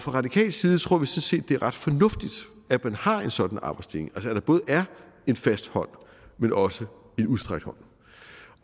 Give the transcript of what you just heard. radikal side tror vi sådan set det er ret fornuftigt at man har en sådan arbejdsdeling at der både er en fast hånd men også en udstrakt hånd